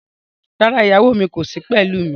Rárá, ìyàwó mi kò sí pẹ̀lú mi.